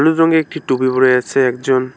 রংয়ের একটি টুপি পড়ে আছে একজন।